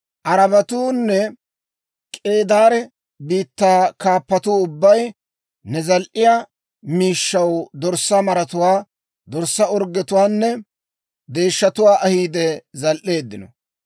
Arabatuunne K'eedaare biittaa kaappatuu ubbay ne zal"iyaa miishshaw dorssaa maratuwaa, dorssaa orggetuwaanne deeshshatuwaa ahiide zal"eeddino.